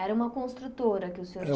Era uma construtora que o senhor